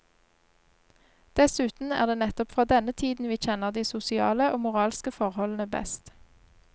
Dessuten er det nettopp fra denne tiden vi kjenner de sosiale og moralske forholdene best.